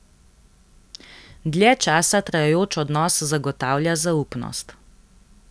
Dlje časa trajajoč odnos zagotavlja zaupnost.